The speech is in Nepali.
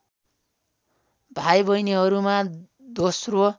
भाइ बहिनीहरूमा दोस्रो